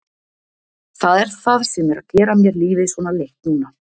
Það er það sem er að gera mér lífið svona leitt núna.